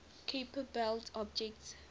kuiper belt objects